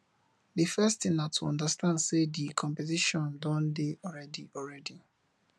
di first thing na to understand sey di competition don dey already already